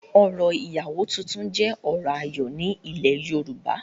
orò ìyàwó tuntun jẹ́ orò ayọ̀ ní ilẹ̀ yorùbá